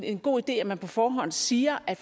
en god idé at man på forhånd siger at